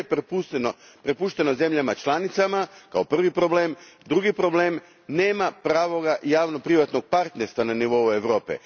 Sve je prepušteno zemljama članicama, kao prvi problem, drugi problem nema pravog javno privatnog partnerstva na nivou Europe.